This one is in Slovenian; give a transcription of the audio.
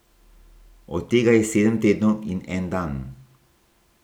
Od tega je sedem tednov in en dan.